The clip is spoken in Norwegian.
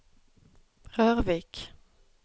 Rørvik